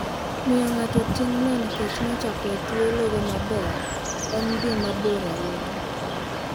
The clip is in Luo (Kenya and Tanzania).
Miyo ng'ato ting'no nikech nochako e thuologo maber en dhi mabor ahinya.